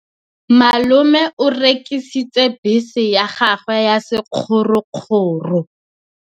Malome o rekisitse bese ya gagwe ya sekgorokgoro.